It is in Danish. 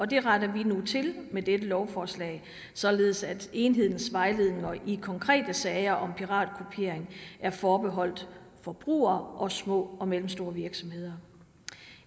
det retter vi nu til med dette lovforslag således at enhedens vejledning i konkrete sager om piratkopiering er forbeholdt forbrugere og små og mellemstore virksomheder